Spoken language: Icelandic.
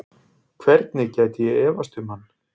Hvernig gæti ég efast um hann?